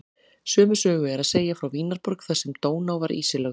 Sömu sögu er að segja frá Vínarborg þar sem Dóná var ísilögð.